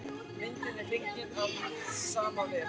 Myndin er fengin af sama vef.